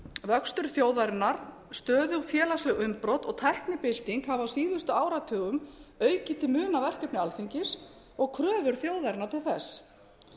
vöxtur þjóðarinnar stöðug félagsleg umbrot og tæknibylting hafa á síðustu áratugum aukið til muna verkefni alþingi og kröfur þjóðarinnar til þess